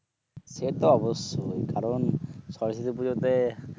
সে তো অবশ্যই কারণ সরস্বতী পুজোতে